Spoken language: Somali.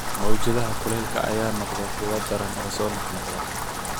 Mawjadaha kuleylka ayaa noqday kuwo daran oo soo noqnoqda.